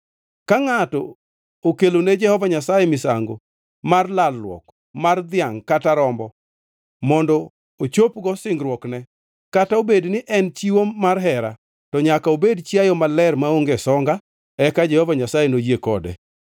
Ka ngʼato okelone Jehova Nyasaye misango mar lalruok mar dhiangʼ kata rombo mondo ochopgo singruokne, kata obed ni en chiwo mar hera, to nyaka obed chiayo maler maonge songa eka Jehova Nyasaye noyie kode.